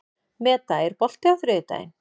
Meda, er bolti á þriðjudaginn?